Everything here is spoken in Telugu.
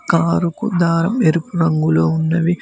కారు గుడ్డ ఎరుపు రంగులో ఉన్నవి.